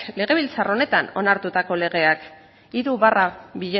legebiltzar honetan onartutako legeak hiru barra